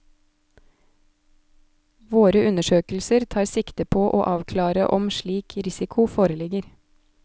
Våre undersøkelser tar sikte på å avklare om slik risiko foreligger.